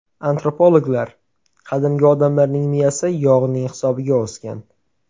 Antropologlar: Qadimgi odamlarning miyasi yog‘ning hisobiga o‘sgan.